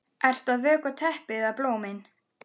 Ert að vökva teppið eða blómin?